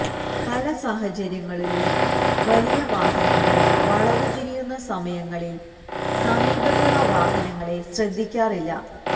പല സാഹചര്യങ്ങളിലും വലിയ വാഹനങ്ങൾ വളവ് തിരിയുന്ന സമയങ്ങളിൽ സമീപത്തുള്ള വാഹനങ്ങളെ ശ്രദ്ധിക്കാറില്ല